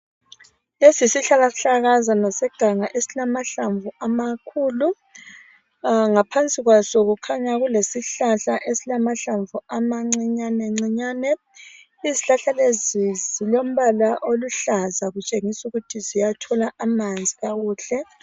Lesi yisihlahlakazana seganga esilamahlamvu amakhulu. Ngaphansi kwaso kukhanya kulesihlahla esilamahlamvu amancinyane ncinyane. Izihlahla lezi zilombala oluhlaza kutshengis' ukuthi ziyathola amanzi kakuhle.